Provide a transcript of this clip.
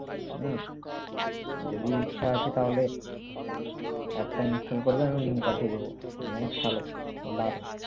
হম যদি ইচ্ছা আছে তাহলে app টা install করবে আমি লিংক পাঠিয়ে দেব খেলো দারুন